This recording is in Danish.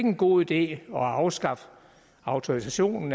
en god idé at afskaffe autorisationen